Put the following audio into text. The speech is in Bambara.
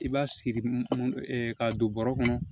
I b'a siri k'a don bɔrɔ kɔnɔ